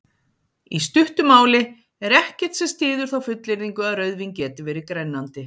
Í stuttu máli er ekkert sem styður þá fullyrðingu að rauðvín geti verið grennandi.